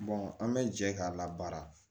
an bɛ jɛ k'a la baara